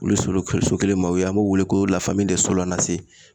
Olu solo so kelen maaw ye an b'o wele ko la fami dɛs sola na se